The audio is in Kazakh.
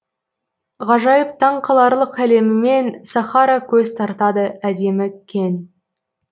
ғажайып таң қаларлық әлемімен сахара көз тартады әдемі кең